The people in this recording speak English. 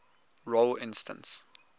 role instance